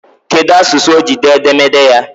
Kedụ asụsụ o ji dee edemede ya?